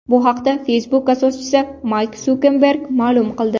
Bu haqda Facebook asoschisi Mark Sukerberg ma’lum qildi .